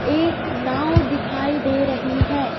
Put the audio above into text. एक नांव दिखाई दे रही है.